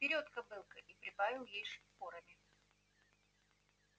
вперёд кобылка и прибавил ей шпорами